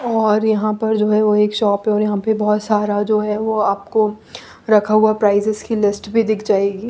और यहाँ पर जो है वो एक शॉप है वहाँ पे बहुत सारा जो है वो आपको रखा हुआ प्रायजेस की लिस्ट भी दिख जाएगी।